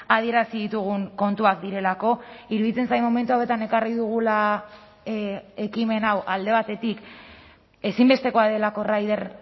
adierazi ditugun kontuak direlako iruditzen zait momentu hauetan ekarri dugula ekimen hau alde batetik ezinbestekoa delako rider